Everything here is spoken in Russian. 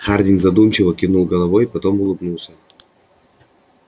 хардин задумчиво кивнул головой потом улыбнулся